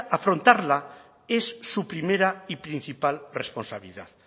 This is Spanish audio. afrontarla es su primera y principal responsabilidad